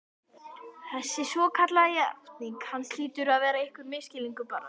Þessi svokallaða játning hans hlýtur að vera einhver misskilningur, bara